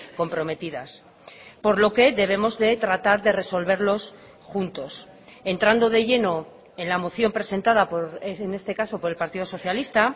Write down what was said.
comprometidas por lo que debemos de tratar de resolverlos juntos entrando de lleno en la moción presentada en este caso por el partido socialista